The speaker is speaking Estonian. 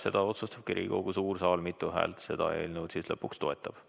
Seda otsustabki Riigikogu suur saal, mitu häält seda eelnõu lõpuks toetab.